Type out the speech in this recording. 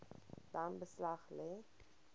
dan beslag lê